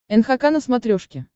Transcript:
нхк на смотрешке